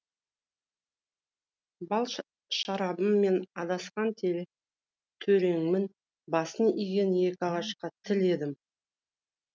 бал шарабым мен адасқан төреңмін басын иген екі ағашқа телі едім